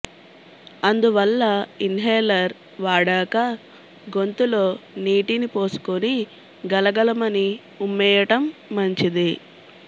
అందువల్ల ఇన్హేలర్ వాడాక గొంతులో నీటిని పోసుకొని గలగలమని ఉమ్మేయటం మంచిది